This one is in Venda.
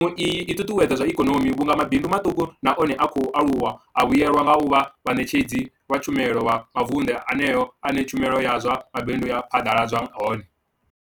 mushumo i ṱuṱuwedza zwa ikonomi vhunga mabindu maṱuku na one a khou aluwa a vhuelwa nga u vha vhaṋetshedzi vha tshumelo kha mavundu eneyo ane tshumelo ya zwa mabindu ya phaḓaladzwa hone.